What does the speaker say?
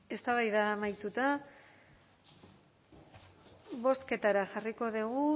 eztabaida amaituta bozketara jarriko dugu